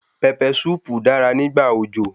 Pẹpẹ súùpù dára nígbà òjò.